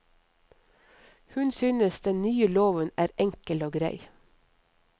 Hun synes den nye loven er enkel og grei.